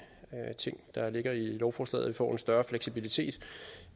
ting der ligger i lovforslaget vi får en større fleksibilitet